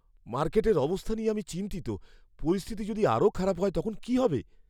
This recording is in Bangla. মার্কেটের অবস্থা নিয়ে আমি চিন্তিত। পরিস্থিতি যদি আরও খারাপ হয়, তখন কী হবে?